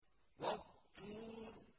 وَالطُّورِ